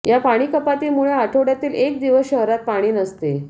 या पाणीकपातीमुळे आठवडयातील एक दिवस शहरात पाणी नसते